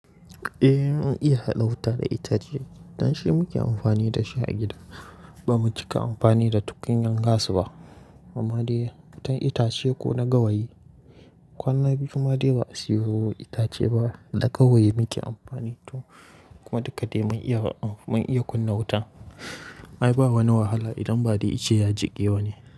Eh mun iya haɗa wuta da itace. Dan shi muke amfani da shi a gida. Ba mu cika amfani da tukunya gas ba. Ba ma dai wutan itace ko na gawayi. Kwanan biyu ma dai ba a siyo itace ba. Da gawayi muke amfani to kuma duk ka dai mun iya, mun iya kunna wuta. Ai ba wani wahala idan badai ice ya jiƙe ba ne.